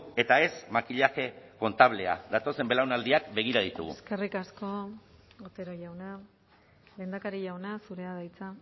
eta ez makillaje kontablea datozen belaunaldiak begira ditugu eskerrik asko otero jauna lehendakari jauna zurea da hitza